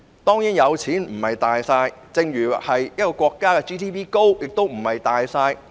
當然有錢不是"大晒"，正如一個國家的 GNP 高亦非"大晒"。